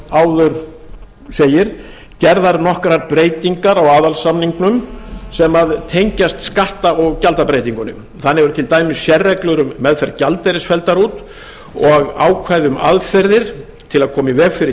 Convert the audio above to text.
áður segir gerðar nokkrar breytingar á aðalsamningnum sem tengjast skatta og gjaldabreytingunni þannig eru til dæmis sérreglur um meðferð gjaldeyris felldar út og ákvæði um aðferðir til að koma í veg fyrir